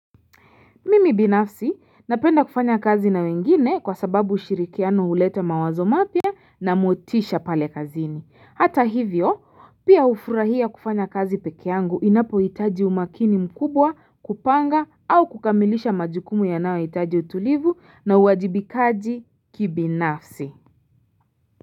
Mimi binafsi napenda kufanya kazi na wengine kwa sababu ushirikiano huleta mawazo mapia na motisha pale kazini. Hata hivyo pia ufurahia kufanya kazi pekee yangu inapoitaji umakini mkubwa kupanga au kukamilisha majukumu yanayo hitaji utulivu na uwajibikaji kibinafsi.